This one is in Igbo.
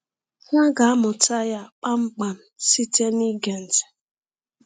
Ha ga-amụta ya kpamkpam site n’ịge ntị.